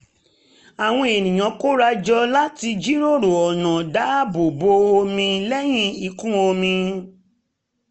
àwọn ènìyàn kóra jọ láti jíròrò ọ̀nà dáàbò bo omi lẹ́yìn ìkún omi